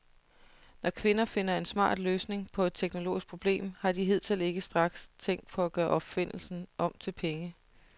Når kvinder finder en smart løsning på et teknologisk problem, har de hidtil ikke straks tænkt på at gøre opfindelsen om til penge.